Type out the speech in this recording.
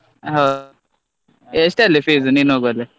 ಹಾ ಹೌ~ ಎಷ್ಟಲ್ಲಿ fees ನೀನ್ ಹೋಗೋದು?